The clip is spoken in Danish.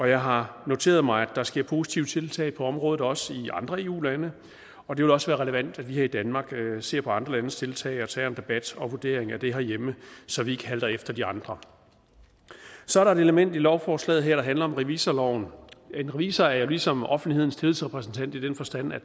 jeg har noteret mig at der sker positive tiltag på området også i andre eu lande og det vil også være relevant at vi her i danmark ser på andre landes tiltag og tager en debat og vurdering af det herhjemme så vi ikke halter efter de andre så er der et element i lovforslaget her der handler om revisorloven en revisor er jo ligesom offentlighedens tillidsrepræsentant i den forstand at